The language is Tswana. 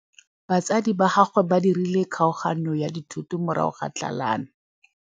Batsadi ba gagwe ba dirile kgaoganyô ya dithoto morago ga tlhalanô.